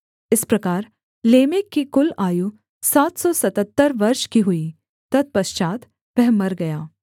इस प्रकार लेमेक की कुल आयु सात सौ सतहत्तर वर्ष की हुई तत्पश्चात् वह मर गया